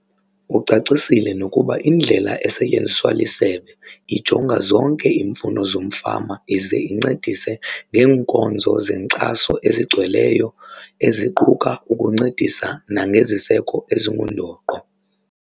Ucacisile nokuba indlela esetyenziswa lisebe ijonga zonke iimfuno zomfama ize incedise ngeenkonzo zenkxaso ezigcweleyo, eziquka ukuncedisa nangeziseko ezingundoqo.